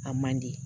A man di